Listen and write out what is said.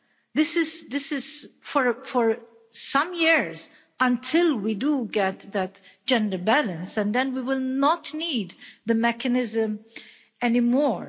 This is for some years, until we get that gender balance, and then we will not need the mechanism any more.